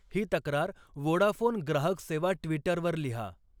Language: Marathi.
ही तक्रार वोडाफोन ग्राहक सेवा ट्विटरवर लिहा